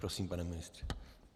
Prosím, pane ministře.